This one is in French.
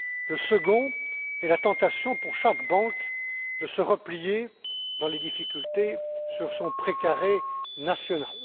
Le second tient à la tentation pour chaque banque de se replier, dans les difficultés, sur son pré carré national.